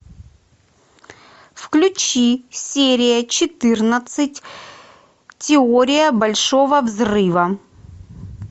включи серия четырнадцать теория большого взрыва